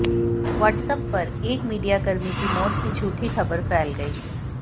WhatsApp पर एक मीडियाकर्मी की मौत की झूठी खबर फैल गई